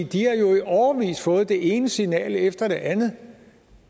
de har jo i årevis fået det ene signal efter det andet